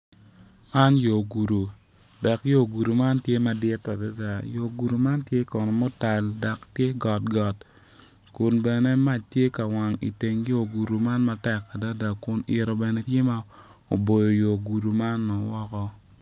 Lutini dok lutini man gitye ka ngwec kun gitye madwong adada kun gin weng gitye ma oruko bongo mapafipadi dok kalane tye patpat kungin tye ka ngwec i yo gudo ma otal adada.